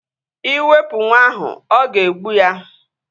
Iwepu nwa ahu, o ga-egbu ya